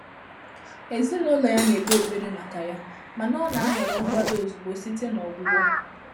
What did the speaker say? Èzínụ́lọ́ yá nà-ékpé ékpèré màkà yá, mà nà ọ́ nà-àhọ́rọ́ nkwàdò ózùgbó sìté nà ọ́gwụ́gwọ́.